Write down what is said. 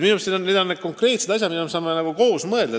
Minu meelest on need konkreetsed asjad, mille üle me saame koos mõelda.